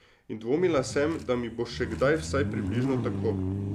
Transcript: In dvomila sem, da mi bo še kdaj vsaj približno tako.